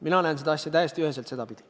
Mina näen seda asja täiesti üheselt sedapidi.